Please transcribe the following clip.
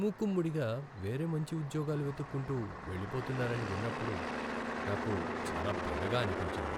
మూకుమ్మడిగా వేరే మంచి ఉద్యోగాలు వెతుక్కుంటూ వెళ్లిపోతున్నారని విన్నప్పుడు నాకు చాలా బెంగగా అనిపించింది.